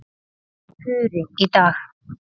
Puri í dag.